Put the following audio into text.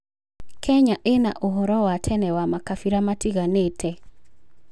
Kenya ĩna ũhoro wa tene wa makabira matiganĩte.